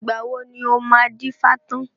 Ìgbà wo ni o máa dífá tán